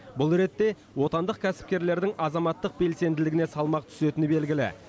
бұл ретте отандық кәсіпкерлердің азаматтық белсенділігіне салмақ түсетіні белгілі